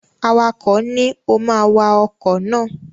Awakọ̀ ni, "o ma wa ọkọ̀ náà!"